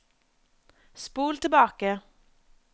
spol tilbake